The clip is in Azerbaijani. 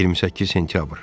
28 sentyabr.